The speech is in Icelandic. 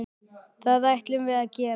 Það ætlum við að gera.